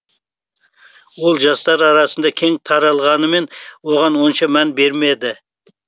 ол жастар арасында кең таралғанымен оған онша мән бермеді